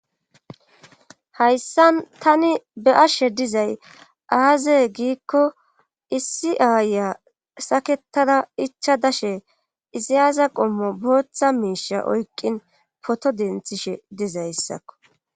Hayssa tani be ashshe dizay aazeye giikko issi aaya saketara icha dashe izayaza qommo booththa miisha oykqin poto denthishe dizayssakko.